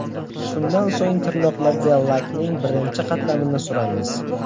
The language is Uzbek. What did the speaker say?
Shundan so‘ng tirnoqlarga lakning birinchi qatlamini suramiz.